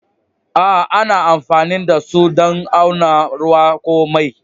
A'a ana amfanin da su dan auna ruwa ko mai.